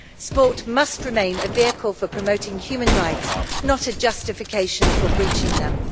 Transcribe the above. Sport must remain a vehicle for promoting human rights, not a justification for breaching them.